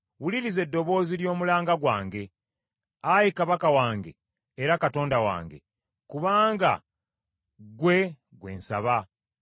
Wuliriza eddoboozi ly’omulanga gwange, Ayi Kabaka wange era Katonda wange: kubanga ggwe gwe nsaba.